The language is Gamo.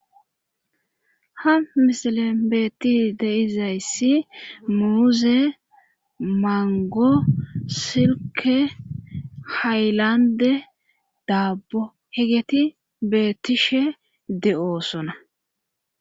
ha misilen beetti deizayssi muuze mango silke hayllande daabbo hegeti beettishe de7oosona